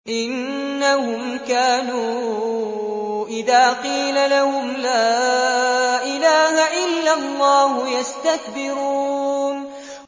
إِنَّهُمْ كَانُوا إِذَا قِيلَ لَهُمْ لَا إِلَٰهَ إِلَّا اللَّهُ يَسْتَكْبِرُونَ